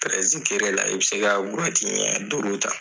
kere la i bi se ka burɛti ɲɛ duuru ta